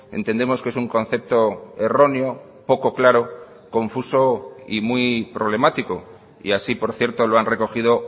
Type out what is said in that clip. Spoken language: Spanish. entendemos que es un concepto erróneo poco claro confuso y muy problemático y así por cierto lo han recogido